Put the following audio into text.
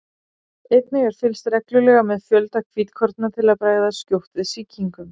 einnig er fylgst reglulega með fjölda hvítkorna til að bregðast skjótt við sýkingum